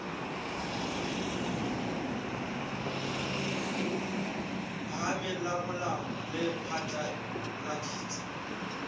phahameng la molao le phatlaladitse